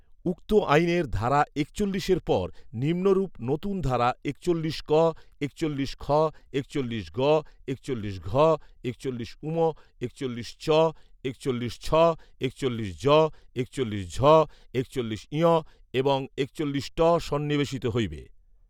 উক্ত আইনের ধারা একচল্লিশের পর নিম্নরূপ নূতন ধারা একচল্লিশ ক, একচল্লিশ খ, একচল্লিশ গ, একচল্লিশ ঘ, একচল্লিশ ঙ, একচল্লিশ চ, একচল্লিশ ছ, একচল্লিশ জ, একচল্লিশ ঝ, একচল্লিশ ঞ এবং একচল্লিশ ট সন্নিবেশিত হইবে